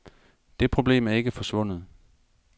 Det problem er ikke forsvundet.